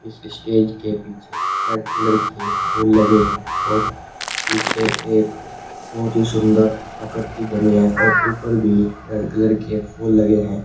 इस स्टेज के पीछे रेड कलर के फूल लगे हैं और पीछे एक बहुत ही सुंदर आकृति बनी है और ऊपर भी रेड कलर के फूल लगे हैं।